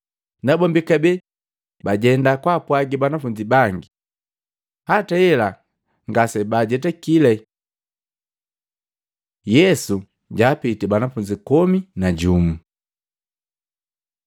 Nabombi kabee bajenda kwaapwagi banafunzi bangi. Hata hela ngasebaajetakile. Yesu jaapitii banafunzi komi na jumu Matei 28:16-20; Luka 24:36-49; Yohana 20:19-23; Mahengu 1:6-8